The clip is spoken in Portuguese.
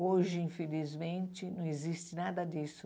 Hoje, infelizmente, não existe nada disso.